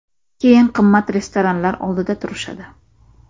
Keyin qimmat restoranlar oldida turishadi.